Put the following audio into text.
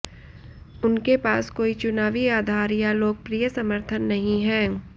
उनके पास कोई चुनावी आधार या लोकप्रिय समर्थन नहीं है